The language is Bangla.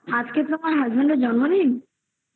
আজকে তোমার husband এর জন্মদিন